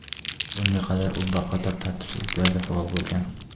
Bunga qadar u bir qator tartibsizliklarda faol bo‘lgan.